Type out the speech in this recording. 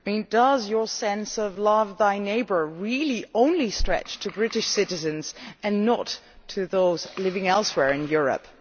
Does your sense of love thy neighbour' really only stretch to British citizens and not to those living elsewhere in Europe?